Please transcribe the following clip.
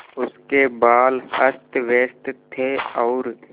उसके बाल अस्तव्यस्त थे और